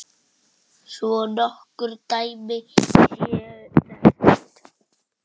Svo nokkur dæmi séu nefnd.